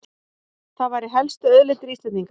Það væru helstu auðlindir Íslendinga